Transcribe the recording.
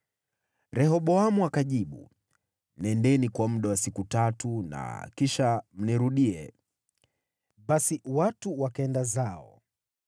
Rehoboamu akajibu, “Nendeni kwa muda wa siku tatu na kisha mnirudie.” Basi watu wakaenda zao.